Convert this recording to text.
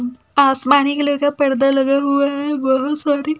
आसमानी कलर का पर्दा लगा हुआ है बहोत सारे--